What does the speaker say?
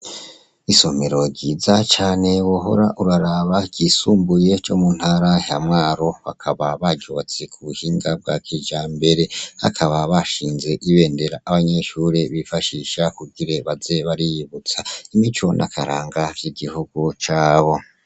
Isomero ryiza cane wohora uraraba ryo muntara ya Mwaro bakaba baryubakiye kubuhinga bwakijambere bakaba bashingiye Ibendera abanyeshure bifashisha kugira baze bariyibutsa imico n'akaranga kigihugu caco.